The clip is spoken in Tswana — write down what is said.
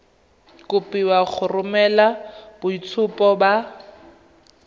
kopiwa go romela boitshupo ba